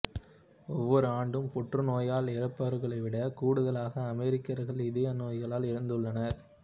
ஒவ்வொரு ஆண்டும் புற்றுநோயால் இறப்பவர்களைவிட கூடுதலான அமெரிக்கர்கள் இதய நோய்களால் இறந்துள்ளனர்